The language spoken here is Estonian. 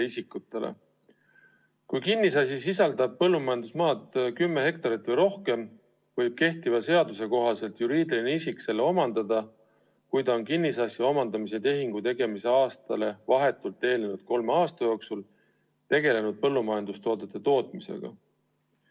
Kui kinnisasi sisaldab põllumajandusmaad kümme hektarit või rohkem, võib juriidiline isik kehtiva seaduse kohaselt omandada selle siis, kui ta on kinnisasja omandamise tehingu tegemise aastale vahetult eelnenud kolme aasta jooksul tegelenud põllumajandustoodete tootmisega.